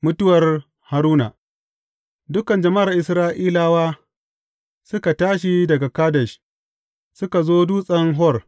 Mutuwar Haruna Dukan Jama’ar Isra’ilawa suka tashi daga Kadesh, suka zo Dutsen Hor.